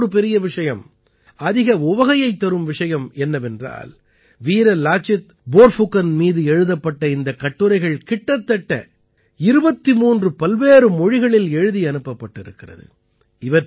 மேலும் மிகவும் பெரிய விஷயம் அதிக உவகையைத் தரும் விஷயம் என்னவென்றால் வீர லாசித் ப்போர்ஃபுகன் மீது எழுதப்பட்ட இந்தக் கட்டுரைகள் கிட்டத்தட்ட 23 பல்வேறு மொழிகளில் எழுதி அனுப்பப்பட்டிருக்கிறது